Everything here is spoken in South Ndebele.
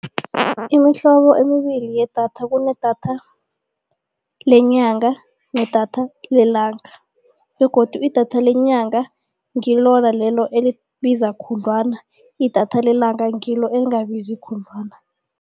Imihlobo emibili yedatha kunedatha lenyanga nedatha lelanga begodu idatha lenyanga ngilona lelo elibiza khudlwana idatha lelanga ngilo lingabizi khudlwana.